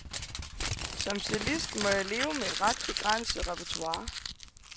Som cellist må jeg leve med et ret begrænset repertoire.